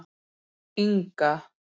Inga